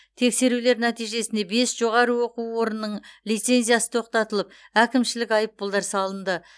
тексерулер нәтижесінде бес жоғары оқу орнының лицензиясы тоқтатылып әкімшілік айыппұлдар салынды